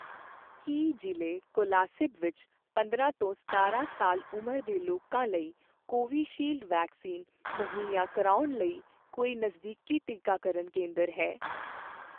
ਕੀ ਜ਼ਿਲ੍ਹੇ ਕੋਲਾਸਿਬ ਵਿੱਚ ਪੰਦਰਾਂ ਤੋਂ ਸਤਾਰਾਂ ਸਾਲ ਉਮਰ ਦੇ ਲੋਕਾਂ ਲਈ ਕੋਵੀਸ਼ੀਲਡ ਵੈਕਸੀਨ ਮੁਹੱਈਆ ਕਰਵਾਉਣ ਲਈ ਕੋਈ ਨਜ਼ਦੀਕੀ ਟੀਕਾਕਰਨ ਕੇਂਦਰ ਹੈ?